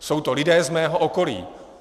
Jsou to lidé z mého okolí.